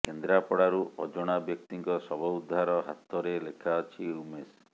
କେନ୍ଦ୍ରାପଡାରୁ ଅଜଣା ବ୍ୟକ୍ତିଙ୍କ ଶବ ଉଦ୍ଧାର ହାତରେ ଲେଖା ଅଛି ଉମେଶ